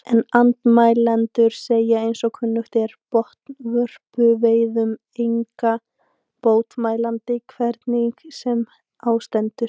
En andmælendur segja eins og kunnugt er, botnvörpuveiðum enga bót mælandi, hvernig sem á stendur.